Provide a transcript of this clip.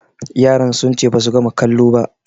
Yaran sun ce basu gama kalo ba